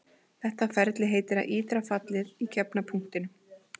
Þetta ferli heitir að ítra fallið í gefna punktinum.